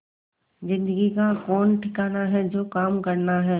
जिंदगी का कौन ठिकाना है जो काम करना है